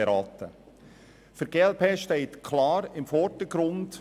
Dabei stehen für uns folgende Punkte im Vordergrund: